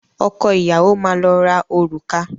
Ọkọ ìyàwó máa lọ ra òrùka.